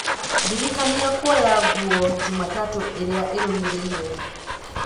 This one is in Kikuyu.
ndĩrikania kuoya nguo jumatatũ ĩrĩa ĩrũmĩrĩire